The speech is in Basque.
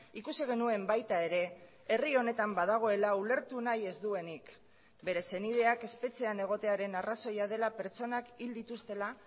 ikusi genuen baita ere herri honetan badagoela ulertu nahi ez duenik bere senideak espetxean egotearen arrazoia dela pertsonak hil dituztela